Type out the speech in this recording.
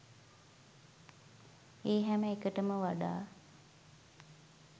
ඒ හැම එකකටම වඩා